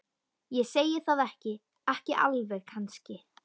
Ég segi það ekki. ekki alveg kannski.